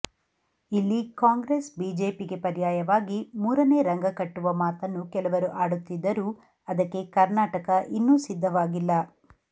ಇಲ್ಲಿ ಕಾಂಗ್ರೆಸ್ ಬಿಜೆಪಿಗೆ ಪರ್ಯಾಯವಾಗಿ ಮೂರನೇ ರಂಗ ಕಟ್ಟುವ ಮಾತನ್ನು ಕೆಲವರು ಆಡುತ್ತಿದ್ದರೂ ಅದಕ್ಕೆ ಕರ್ನಾಟಕ ಇನ್ನೂ ಸಿದ್ಧವಾಗಿಲ್ಲ